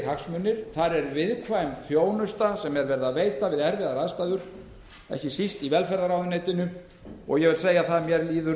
hagsmunir þar er veitt viðkvæm þjónusta við erfiðar aðstæður ekki síst í velferðarráðuneytinu og ég vil segja að mér líður